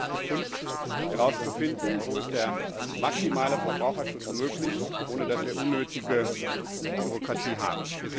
Das ist jetzt die Kunst, herauszufinden, wo der maximale Verbraucherschutz möglich ist, ohne dass wir unnötige Bürokratie haben.